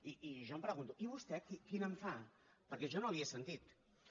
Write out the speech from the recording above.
i jo em pregunto i vostè quina en fa perquè jo no la hi he sentida